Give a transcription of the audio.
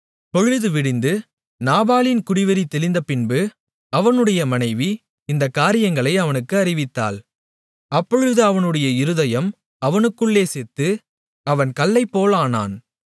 பொழுது விடிந்து நாபாலின் குடிவெறி தெளிந்தபின்பு அவனுடைய மனைவி இந்தக் காரியங்களை அவனுக்கு அறிவித்தாள் அப்பொழுது அவனுடைய இருதயம் அவனுக்குள்ளே செத்து அவன் கல்லைப்போலானான்